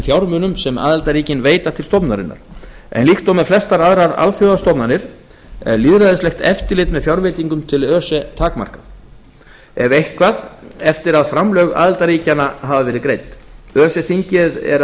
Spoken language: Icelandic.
fjármunum sem aðildarríkin veita til stofnunarinnar en líkt og með flestar aðrar alþjóðastofnanir er lýðræðislegt eftirlit með fjárveitingum til öse takmarkað ef eitthvað eftir að framlög aðildarríkjanna hafa verið greidd öse þingið er